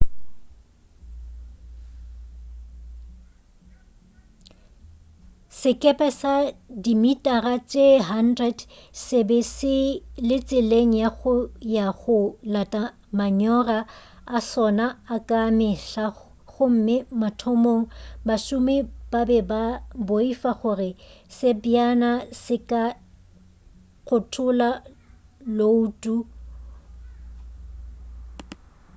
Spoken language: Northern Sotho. sekepe sa dimitara tše-100 se be se le tseleng ya go ya go lata manyora a sona a ka mehla gomme mathomong bašomi ba be ba boifa gore sebjana se ka kgothola llouto